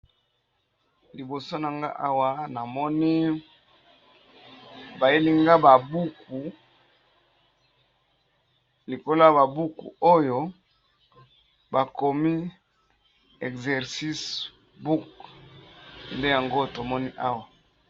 Liboso nangai Awa namoni bayeli ngai ba buku likolo ya ba buku oyo bakomi exercices Book nde yango tomoni Awa.